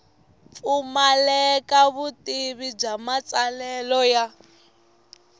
pfumaleka vutivi bya matsalelo ya